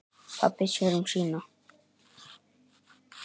Pabbi sér um sína.